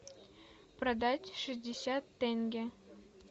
продать шестьдесят тенге